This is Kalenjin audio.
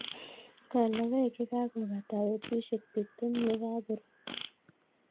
Kol logoek ye kakopata petushek tiptem ye kakorut